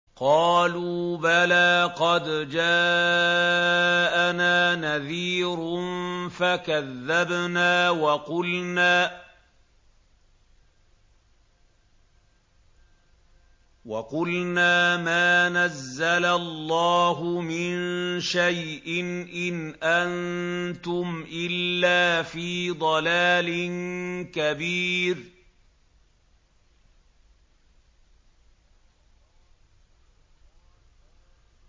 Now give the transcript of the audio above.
قَالُوا بَلَىٰ قَدْ جَاءَنَا نَذِيرٌ فَكَذَّبْنَا وَقُلْنَا مَا نَزَّلَ اللَّهُ مِن شَيْءٍ إِنْ أَنتُمْ إِلَّا فِي ضَلَالٍ كَبِيرٍ